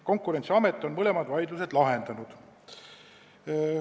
Konkurentsiamet on mõlemad vaidlused lahendanud.